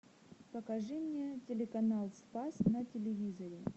покажи мне телеканал спас на телевизоре